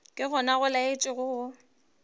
ke gona go laetša go